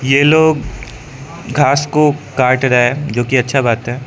ये लोग घास को काट रहा है जो कि अच्छा बात है।